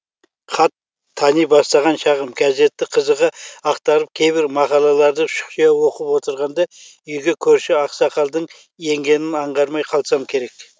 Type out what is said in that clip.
хат тани бастаған шағым газетті қызығы ақтарып кейбір мақалаларды шұқшия оқып отырғанда үйге көрші ақсақалдың енгенін аңғармай қалсам керек